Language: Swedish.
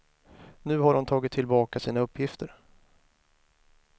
Nu har hon tagit tillbaka sin uppgifter.